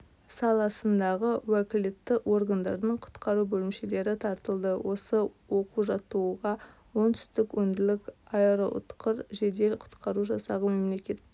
саласындағы уәкілетті органдардың құтқару бөлімшелері тартылды осы оқу-жаттығуға оңтүстік өңірлік аэроұтқыр жедел құтқару жасағы мемлекеттік